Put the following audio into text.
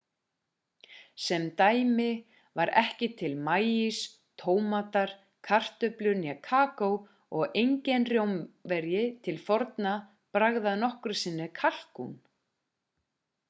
sem dæmi var ekki til maís tómatar kartöflur né kakó og enginn rómverji til forna bragðaði nokkru sinni kalkún